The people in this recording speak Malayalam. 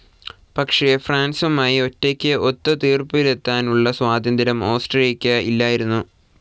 പക്ഷെ ഫ്രാൻസുമായി ഒറ്റക്ക് ഒത്തു തീർപ്പിലെത്താനുള്ള സ്വാതന്ത്ര്യം ഓസ്ട്രിയക്ക് ഇല്ലായിരുന്നു.